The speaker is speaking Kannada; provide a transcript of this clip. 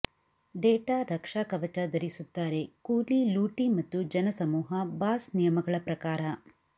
ಡೇಟಾ ರಕ್ಷಾಕವಚ ಧರಿಸುತ್ತಾರೆ ಕೂಲಿ ಲೂಟಿ ಮತ್ತು ಜನಸಮೂಹ ಬಾಸ್ ನಿಯಮಗಳ ಪ್ರಕಾರ